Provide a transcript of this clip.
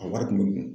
A wari kun bɛ dun